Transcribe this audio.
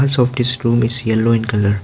softish room is yellow in colour.